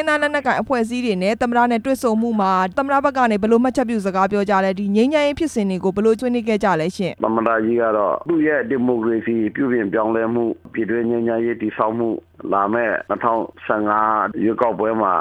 င်းသားလက်နက်ကိုင်အဖွဲ့အစည်းတွေနဲ့ သမ္မတနဲ့တွေ့ဆုံမှုမှာ သမ္မတ ဘက်ကနေ ဘယ်လိုမှတ်ချက်ပြုစကား ပြောကြားလဲ၊ ငြိမ်းချမ်းရေးဖြစ်စဉ်တွေကို ဘယ်လိုဆွေးနွေးခဲ့ကြလဲရှင့်။ သမ္မတကြီးကတော့ သူ့ရဲ့ဒီမိုကရေစီ ပြုပြင်ပြောင်းလဲမှု၊ ပြည်တွင်းငြိမ်းချမ်းရေး တည်ဆောက်မှု၊ လာမယ့် ၂ဝ၁၅ ရွေးကောက်ပွဲမှာ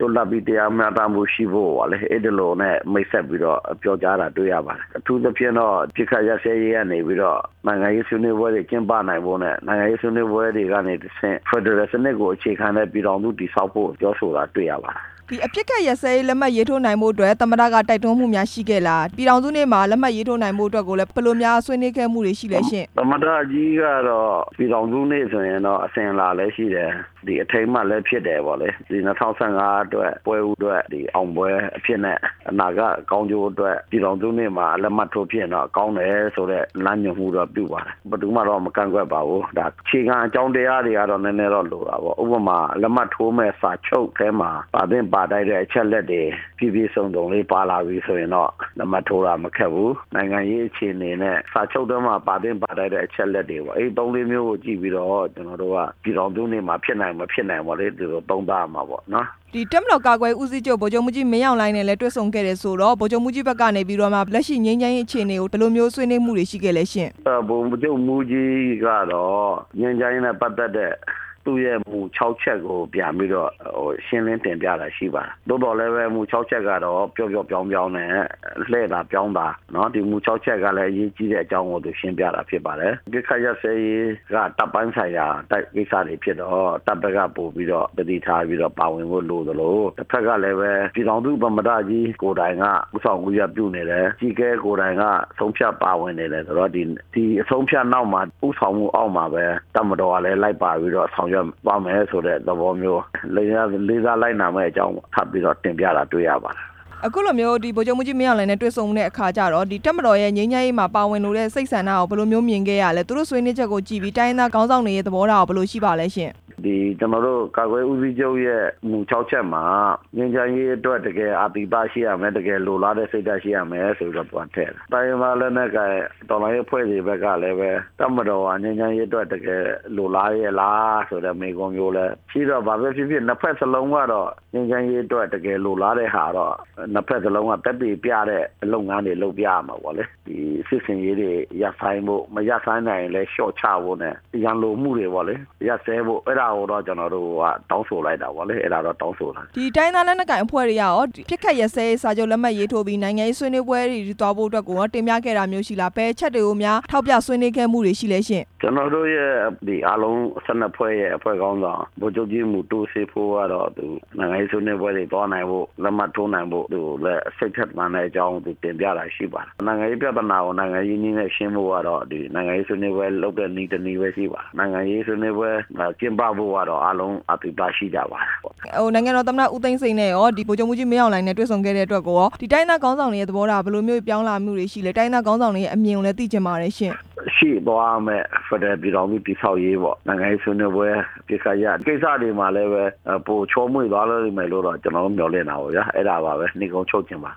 လွတ်လပ်ပြီး တရားမျှတမှုရှိဖို့ပေါ့လေ၊ အဲ့ဒီလိုနဲ့ မိတ်ဆက် ပြီးတော့ ပြောကြားတာတွေ့ရပါတယ်၊ အထူးသဖြင့်တော့ အပစ်အခတ်ရပ်စဲရေးကနေပြီးတော့ နိုင်ငံရေးဆွေးနွေး ပွဲတွေ ကျင်းပနိုင်ဖို့နဲ့ နိုင်ငံရေးဆွေးနွေးပွဲတွေကနေတဆင့် ဖက်ဒရယ်စနစ်ကိုအခြေခံတဲ့ ပြည်ထောင်စု တည်ဆောက်ဖို့အတွက် ပြောဆိုတာတွေ့ရပါတယ်။ ဒီအပစ်အခတ်လက်မှတ် ရေးထိုးနိုင်ဖို့အတွက် သမ္မတက တိုက်တွန်းမှုတွေများ ရှိခဲ့လား၊ ပြည်ထောင်စုနေ့မှာ လက်မှတ်ရေးထိုးနိုင်ဖို့အတွက်ကိုလည်း ဘယ်လိုများဆွေးနွေးခဲ့မှုတွေရှိခဲ့လဲရှင့်။ သမ္မတကြီးကတော့ ပြည်ထောင်စုနေ့ဆိုရင်တော့ အစဉ်အလာလည်းရှိတယ်၊ အထိမ်းအမှတ်လည်း ဖြစ်တယ်ပေါ့လေ၊ ၂ဝ၁၅ အတွက်ပွဲဦးထွက် အောင်ပွဲအဖြစ်နဲ့ အနာဂတ်ကောင်းကျိုး အတွက် ပြည်ထောင်စုနေ့မှာ လက်မှတ်ထိုးဖြစ်ရင်တော့ ကောင်းမယ်ဆိုတဲ့ လမ်းညွှန်မှုတော့ပြုပါတယ်၊ ဘယ်သူမှတော့ မကန့်ကွက်ပါဘူး၊ ဒါအခြေခံအကြောင်းတရားတွေကတော့ နည်းနည်းတော့လိုတာပေါ့၊ ဥပမာ လက်မှတ်ထို့မယ့်စာချုပ်ထဲမှာ ပါသင့်ပါထိုက်တဲ့အချက်အလက်တွေ ပြည့်ပြည့်စုံစုံလေးပါလာပြီဆိုရင်တော့ လက်မှတ်ထိုးဖို့ကမခက်ဘူး၊ နိုင်ငံရေးအခြေအနေနဲ့ စာချုပ်ထဲမှာ ပါသင့်ပါထိုက်တဲ့ အချက်အလက်တွေပေါ့ အဲ့ဒီသုံးလေးမျိုးကို ကြည့်ပြီးတော့ ကျနော်တို့က ပြည်ထောင်စုနေ့မှာ ဖြစ်နိုင်မဖြစ်နိုင်ပေါ့လေ သုံးသပ်ရ မှာပေါ့နော်။ တပ်မတော်ကာကွယ်ရေးဦးစီးချုပ် ဗိုလ်ချုပ်မှူးကြီး မင်းအောင်လှိုင်နဲ့လည်း တွေ့ဆုံ ခဲ့တယ်ဆိုတော့ ဗိုလ်ချုပ်မှူးကြီးတို့ဘက်ကနေတော့မှ လက်ရှိငြိမ်းချမ်းရေးကို ဘယ်လိုမျိုးဆွေးနွေးမှုတွေ ရှိခဲ့လဲရှင့်။ ဗိုလ်ချုပ်မှူးကြီးကတော့ ငြိမ်းချမ်းရေးပတ်သက်တဲ့ သူ့ရဲ့မူ ၆ ရပ်ကိုပြန်ပြီးတော့ ရှင်းလင်းတင်ပြတာရှိပါတယ်၊ သို့သော်လည်းပဲမူ ၆ ချက်ကတော့ ပျော့ပျော့ပျောင်းပျောင်းနဲ့ လှည့်သာပြောင်းသာ ဒီမူ ၆ ချက်ကလည်း အရေးကြီးတဲ့အကြောင်းကို သူရှင်းပြတာဖြစ်ပါတယ်၊ အပစ်အခက်ရပ်စဲရေးက တပ်ပိုင်းဆိုင်ရာတပ်ကိစ္စတွေဖြစ်တော့ တပ်ဘက်ကပိုပြီးတော့ သတိထားပြီးတော့ ပါဝင်ဖို့လိုသလို တဘက်ကလည်းပဲ ပြည်ထောင်စုသမ္မတကြီး ကိုယ်တိုင်ကဦးဆောင်ဦးရွက်ပြုနေတယ်၊ အကြီးအကဲကိုယ်တိုင်က ဆုံးဖြတ်ပါဝင်နေတယ်ဆိုတော့ ဒီအဆုံးအဖြတ်နောက်မှာ ဦးဆောင်မှုအောက်မှာ တပ်မတော်ကလည်းပဲ လိုက်ပါပြီးတော့ဆောင်ရွက်သွားမယ်ဆိုတဲ့ သဘောမျိုး၊ လေးစားလိုက်နာမယ့်အကြောင်း ထပ်ပြီးတော့ တင်ပြတာတွေ့ရပါတယ်။ အခုလိုမျိုး ဗိုလ်ချုပ်မှူးကြီး မင်းအောင်လှိုင်နဲ့ တွေ့ဆုံတဲ့အခါကျတော့ တပ်မတော်ရဲ့ ငြိမ်းချမ်းရေးမှာ ပါဝင်လိုတဲ့စိတ်ဆန္ဒကိုကော ဘယ်လိုမျိုးမြင်ခဲ့ရလဲ၊ သူတို့ဆွေးနွေးချက်ကိုကြည့်ပြီး တိုင်းရင်း သားခေါင်းဆောင်တွေရဲ့ သဘောထားကော ဘယ်လိုရှိလဲရှင့်။ ကျနော်တို့ ကာကွယ်ရေးဦးစီးချုပ်ရဲ့ မူ ၆ ချက်မှာ ငြိမ်းချမ်းရေးအတွက် တကယ် အာသီသရှိရမယ်၊ တကယ်လိုလားတဲ့ စိတ်ဓါတ်ရှိရမယ်ဆိုပြီးတော့ သူကထည့်တာ၊ တိုင်းရင်းသားလက်နက်ကိုင် အဖွဲ့တွေဘက်ကလည်း တပ်မတော်ဟာ ငြိမ်းချမ်းရေးအတွက်တကယ် လိုလားရဲ့လားဆိုတဲ့ မေးခွန်းမျိုး လည်း ဖြစ်တော့ဘာပဲဖြစ်ဖြစ် နှစ်ဘက်စလုံးကတော့ ငြိမ်းချမ်းရေးအတွက် တကယ်လိုလားတဲ့ဟာတော့ နှစ်ဘက် စလုံးကသက်သေပြတဲ့ လုပ်ငန်းတွေလုပ်ပြရမှာပေါ့၊ ဒီစစ်ဆင်ရေးတွေ ရပ်ဆိုင်းဖို့မရပ်ဆိုင်းနိုင်ရင်လည်း လျော့ဖို့နဲ့ ရန်လိုမှုတွေပေါ့လေရပ်စဲဖို့ အဲ့ဒါကိုတော့ ကျနော်တို့ တောင်းဆိုလိုက်တာပေါ့လေ၊ အဲ့ဒါတော့ တောင်းဆိုတယ်။ တိုင်းရင်းသားလက်နက်ကိုင်အဖွဲ့တွေကရော အပစ်အခက်ရပ်စဲရေး စာချုပ် လက်မှတ်ရေးထိုးပြီး နိုင်ငံရေးဆွေးနွေးပွဲတွေအထိ သွားဖို့အတွက်ကိုကော တင်ပြခဲ့တာမျိုးရှိလား၊ ဘယ်အချက်တွေကိုများ ထောက်ပြဆွေးနွေးခဲ့မှုတွေ ရှိလဲရှင့်။ ကျနော်တို့အားလုံး ၁၂ ဖွဲ့ရဲ့ခေါင်းဆောင် ဗိုလ်ချုပ်ကြီး မူတူးစေးဖော ကတော့ နိုင်ငံရေးဆွေနွေးပွဲတွေသွားနိုင်ဖို့၊ လက်မှတ်ထိုးနိုင်ဖို့အတွက် စိတ်ထက်သန်တဲ့အကြောင်း တင်ပြတာရှိပါတယ်၊ နိုင်ငံရေးပြဿနာကို နိုင်ငံရေးနည်းနဲ့ရှင်းဖို့ကတော့ ဒီနိုင်ငံရေးဆွေးနွေးပွဲလုပ်တဲ့နည်း တစ်နည်းပဲရှိပါတယ်၊ နိုင်ငံရေးဆွေးနွေးပွဲ ကျင်းပဖို့ကတော့ အားလုံးအာသီသရှိကြပါတယ်ပေါ့။ နိုင်ငံတော်သမ္မတ ဦးသိန်းစိန်နဲ့ကော ဗိုလ်ချုပ်မှူးကြီး မင်းအောင်လှိုင် နဲ့ တွေ့ဆုံခဲ့တဲ့အတွက် တိုင်းရင်းသားခေါင်းဆောင်တွေရဲ့သဘောထားဘယ်လိုမျိုး ပြောင်းလာမှုတွေရှိလဲ၊ တိုင်းရင်းသားခေါင်းဆောင်တွေရဲ့ အမြင်တွေလည်း သိချင်ပါတယ်ရှင့်။ ရှေ့သွားရမယ့် ဖက်ဒရယ်ပြည်ထောင်စု တည်ဆောက်ရေးပေါ့ ၊ နိုင်ငံရေးဆွေးနွေးပွဲ ကိစ္စရပ်တွေမှာလည်းပဲ ပိုချေုာမွေ့သွားမယ်လို့တော့ ကျနော်တို့ မျော်လင့်တာပေါ့ဗျာ၊ အဲ့ဒါပါပဲ နိဂုံးချုပ်ချင်ပါ